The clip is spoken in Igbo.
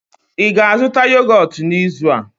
ị ga-azụta yogọt n'izu a?